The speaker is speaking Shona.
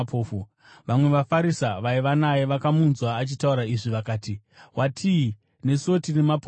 Vamwe vaFarisi vaiva naye vakamunzwa achitaura izvi vakati, “Watii? Nesuwo tiri mapofu here?”